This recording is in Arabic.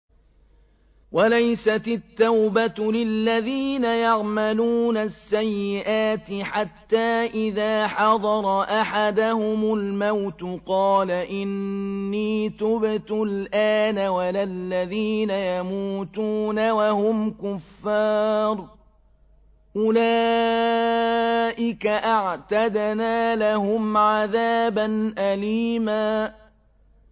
وَلَيْسَتِ التَّوْبَةُ لِلَّذِينَ يَعْمَلُونَ السَّيِّئَاتِ حَتَّىٰ إِذَا حَضَرَ أَحَدَهُمُ الْمَوْتُ قَالَ إِنِّي تُبْتُ الْآنَ وَلَا الَّذِينَ يَمُوتُونَ وَهُمْ كُفَّارٌ ۚ أُولَٰئِكَ أَعْتَدْنَا لَهُمْ عَذَابًا أَلِيمًا